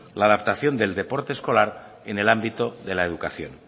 la adaptación del deporte escolar en el ámbito de la educación